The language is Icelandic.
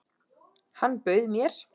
Hann bauð mér!